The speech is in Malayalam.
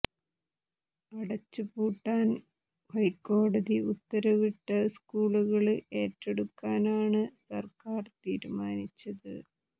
അടച്ചു പൂട്ടാന് ഹൈക്കോടതി ഉത്തരവിട്ട സ്കൂളുകള് ഏറ്റെടുക്കാനാണ് സര്ക്കാര് തീരുമാനിച്ചത്